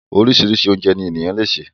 Orísirísi oúnjẹ ní ènìyàn le sè